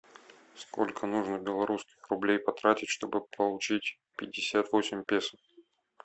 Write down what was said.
сколько нужно белорусских рублей потратить чтобы получить пятьдесят восемь песо